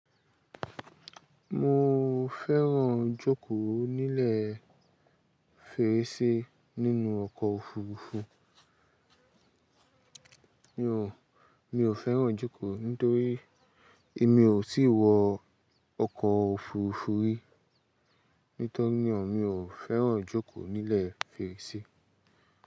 Mo fẹ́ràn jókòó nílẹ̀ fèrèsé nínú ọkọ̀ òfurufú. Mi ò, mi ò fẹ́ràn jókòó nítorí èmi ò tí wọ ọkọ̀ òfurufú rí. Nítorínà mi ò fẹ́ràn jókòó nílẹ̀ fèrèsé.